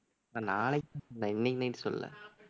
நான் நாளைக்குத்தான் சொன்னேன் இன்னைக்கு night சொல்லலை